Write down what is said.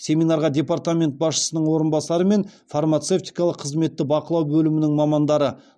семинарға департамент басшысының орынбасары мен фармацевтикалық қызметті бақылау бөлімінің мамандары